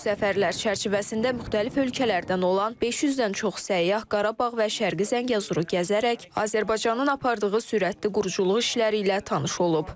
Bu səfərlər çərçivəsində müxtəlif ölkələrdən olan 500-dən çox səyyah Qarabağ və Şərqi Zəngəzuru gəzərək Azərbaycanın apardığı sürətli quruculuq işləri ilə tanış olub.